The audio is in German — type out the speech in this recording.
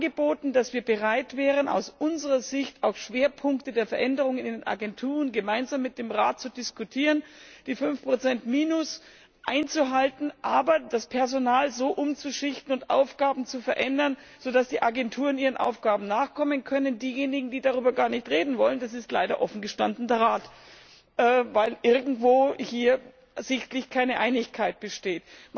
Wir haben angeboten, dass wir bereit wären, aus unserer Sicht auch Schwerpunkte der Veränderungen in den Agenturen gemeinsam mit dem Rat zu diskutieren, die 5 Minus einzuhalten, aber das Personal so umzuschichten und Aufgaben zu verändern, dass die Agenturen ihren Aufgaben nachkommen können. Diejenigen, die darüber gar nicht reden wollen, das ist leider offen gestanden der Rat, weil hier offensichtlich irgendwo keine Einigkeit besteht.